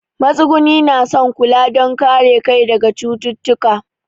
Matsuguni na son kula don kare kai daga cututtuka.